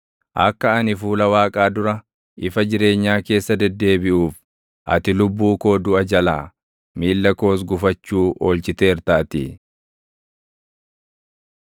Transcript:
Akka ani fuula Waaqaa dura, ifa jireenyaa keessa deddeebiʼuuf, ati lubbuu koo duʼa jalaa, miilla koos gufachuu oolchiteertaatii.